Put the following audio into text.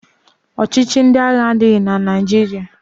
Ọchịchị ndị agha adịghị na Naịjirịa